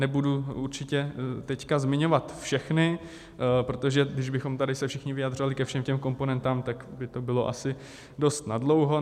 Nebudu určitě teď zmiňovat všechny, protože když bychom tady se všichni vyjadřovali ke všem těm komponentám, tak by to bylo asi dost nadlouho.